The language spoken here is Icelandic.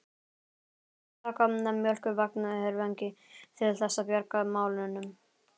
Þurftu að taka mjólkurvagn herfangi til þess að bjarga málunum!